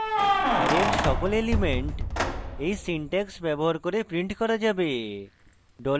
array এর সকল elements এই syntax ব্যবহার করে printed করা যাবে